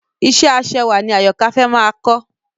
Ìṣe ẹ aṣẹwà ni Àyọ̀kâ fẹ́ máa kọ́